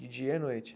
De dia e à noite?